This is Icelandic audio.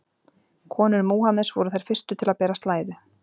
Konur Múhameðs voru þær fyrstu til að bera slæðu.